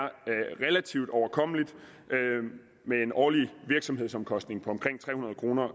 relativt overkommeligt med en årlig virksomhedsomkostning på omkring tre hundrede kroner